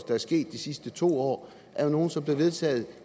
er sket de sidste to år er nogle som er blevet vedtaget